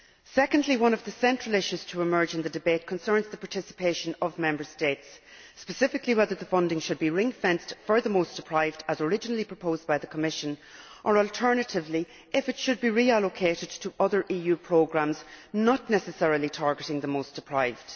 Secondly, one of the central issues to emerge in the debate concerns the participation of Member States, specifically whether the funding should be ringfenced for the most deprived, as originally proposed by the Commission, or alternatively if it should be reallocated to other EU programmes not necessarily targeting the most deprived.